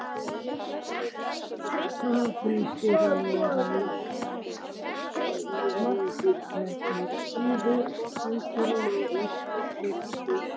Hálfleikur: Er Ísland að kveðja Evrópukeppnina í ár?